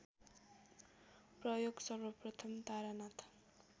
प्रयोग सर्वप्रथम तारानाथ